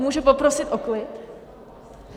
Můžu poprosit o klid?